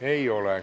Ei ole.